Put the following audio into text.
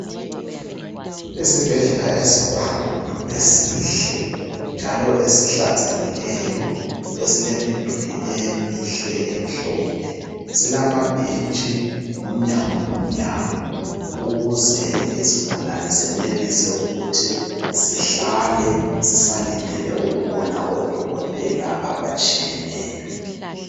esibhedlela esikhulu esihle njalo esihlanzekileyo esilemiduli emihle emhlophe silamabhentshi umnyango ngomnyango ukuze izigulane zenelise ukuthi zihlale zisalindelel ukubona o dokotela abatshiyeneyo